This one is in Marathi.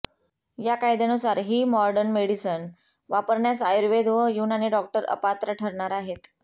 या कायद्यानुसार ही मॉडर्न मेडिसन वापरण्यास आयुर्वेद व युनानी डॉक्टर अपात्र ठरणार आहेत